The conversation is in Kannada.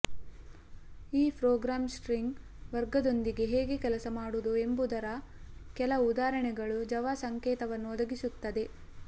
ಈ ಪ್ರೋಗ್ರಾಂ ಸ್ಟ್ರಿಂಗ್ ವರ್ಗದೊಂದಿಗೆ ಹೇಗೆ ಕೆಲಸ ಮಾಡುವುದು ಎಂಬುದರ ಕೆಲವು ಉದಾಹರಣೆ ಜಾವಾ ಸಂಕೇತವನ್ನು ಒದಗಿಸುತ್ತದೆ